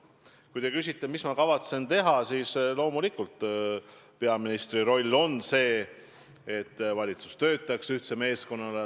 Kui te küsite, mida ma kavatsen teha, siis loomulikult on peaministri roll tagada, et valitsus töötaks ühtse meeskonnana.